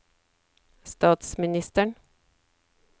statsministeren